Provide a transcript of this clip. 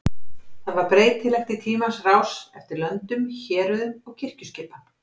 Það var breytilegt í tímans rás eftir löndum, héruðum og kirkjuskipan.